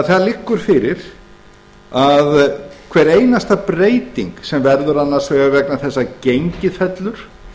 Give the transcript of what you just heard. gengisbundinn það liggur því fyrir að hver einasta breyting sem verður annars vegar vegna þess að gengið fellur